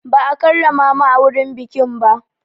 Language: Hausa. Ba a karrama mu a wurin bikin ba.